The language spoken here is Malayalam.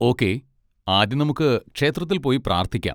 ഓക്കേ, ആദ്യം നമുക്ക് ക്ഷേത്രത്തിൽ പോയി പ്രാർത്ഥിക്കാം.